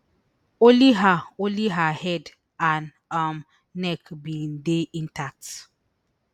only her only her head and um neck bin dey intact